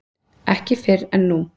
Ekki fyrr en nú.